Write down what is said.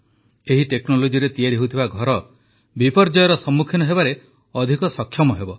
ଏହି ଟେକ୍ନୋଲୋଜିରେ ତିଆରି ହେଉଥିବା ଘର ବିପର୍ଯ୍ୟୟର ସମ୍ମୁଖୀନ ହେବାରେ ଅଧିକ ସକ୍ଷମ ହେବ